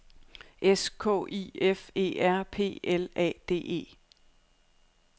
S K I F E R P L A D E